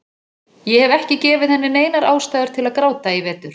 Ég hef ekki gefið henni neinar ástæður til að gráta í vetur.